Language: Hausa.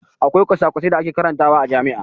Akwai kwasa-kwasai da ake karantawa a jami'a.